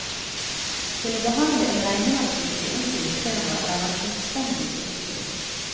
Til å behandle en regnemaskin i onkelens firma er han fullstendig ubrukelig.